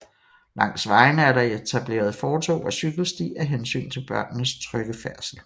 Langs vejene er der etableret fortov og cykelsti af hensyn til børnenes trygge færdsel